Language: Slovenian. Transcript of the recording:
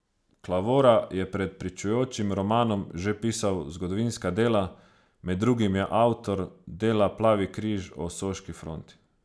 Klavora je pred pričujočim romanom že pisal zgodovinska dela, med drugim je avtor dela Plavi križ o soški fronti.